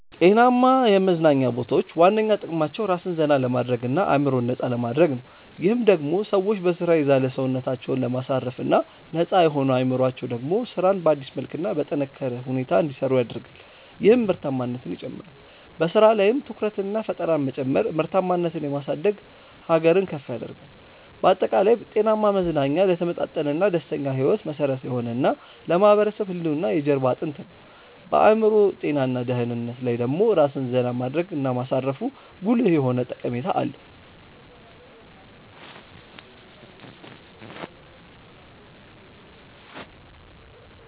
ጤናማ የመዝናኛ ቦታዎች ዋነኛ ጥቅማቸው ራስን ዘና ለማድረግ እና አዕምሮን ነፃ ለማድረግ ነው። ይህም ደሞ ሰዎች በሥራ የዛለ ሰውነታቸውን ለማሳረፍ እና ነፃ የሆነው አዕምሮአቸው ደሞ ስራን በአዲስ መልክ እና በጠነካረ ሁኔታ እንዲሰሩ ያደርጋል ይህም ምርታማነትን ይጨምራል። በሥራ ላይም ትኩረትንና ፈጠራን መጨመር ምርታማነትን የማሳደግ ሀገርን ከፍ ያደርጋል። ባጠቃላይ፣ ጤናማ መዝናኛ ለተመጣጠነና ደስተኛ ሕይወት መሠረት የሆነ እና ለማህበረሰብ ህልውና የጀርባ አጥንት ነው። በአዕምሮ ጤና እና ደህንነት ላይ ደሞ ራስን ዜና ማድረግ እና ማሳረፉ ጉልህ የሆነ ጠቀሜታ አለው።